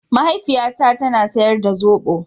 Mahaifiyata ta na sayar da zobo.